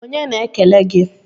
Onye na-ekele gi?